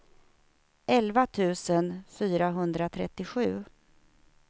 elva tusen fyrahundratrettiosju